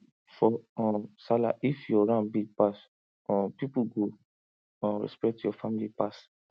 for um sallah if your ram big pass um people go um respect your family pass